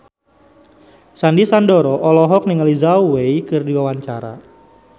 Sandy Sandoro olohok ningali Zhao Wei keur diwawancara